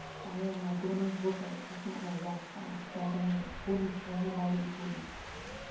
पायाला दोनच बोट असणाऱ्या या स्टार खेळाडूवर कोणीच नाही लावली बोली